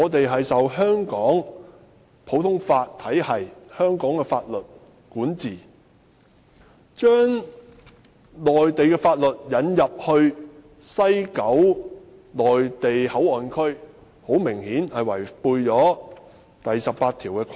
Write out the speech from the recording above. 香港屬於普通法體系，受香港法律管治，所以將內地法律引進西九龍站內地口岸區，顯然違反《基本法》第十八條的規定。